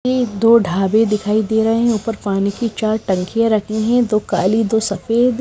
ये दो ढाबे दिखाई दे रहे हैं ऊपर पानी की चार टंकियां रखी हैं दो काली दो सफेद--